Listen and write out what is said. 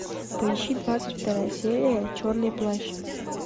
поищи двадцать вторая серия черный плащ